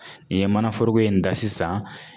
N'i ye mana foroko in ta sisan.